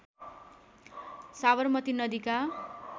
साबरमती नदीका